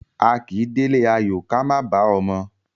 A kì í délé ayò ká má bàá ọmọ.